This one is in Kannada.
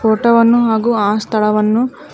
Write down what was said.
ಫೋಟೋ ವನ್ನು ಹಾಗು ಆ ಸ್ಥಳವನ್ನು--